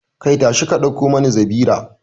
Kai, tashi ka dauko mani zabira